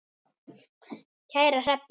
Kæra Hrefna,